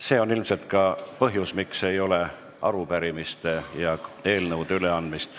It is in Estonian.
See on ilmselt põhjus, miks täna ei ole arupärimiste ja eelnõude üleandmist.